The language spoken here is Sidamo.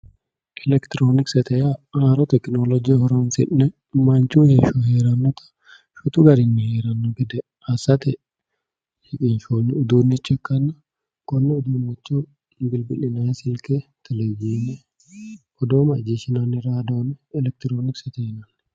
Elekitironkise yaa haaro tekinoloje horonsi'ne manchu heeshsho heeranotta shotu garinni heerano gede assate shiqqinshoni uduuncho ikkanna konne uduuncho bilbilinanni silke televizhine ,odoo macciishshinanni radione elekitironkisete yinanni.